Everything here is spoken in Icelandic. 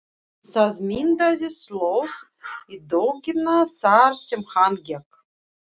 Það myndaðist slóð í dögg- ina þar sem hann gekk.